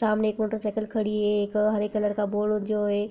सामने एक motorcycle खड़ी है एक हरे कलर का बोर्ड जो है